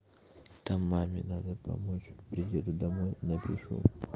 там маме надо помочь приеду домой напишу